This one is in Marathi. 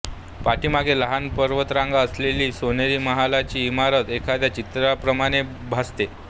पाठीमागे लहान पर्वतरांगा असलेली सोनेरी महालाची इमारत एखाद्या चित्राप्रमाणे भासते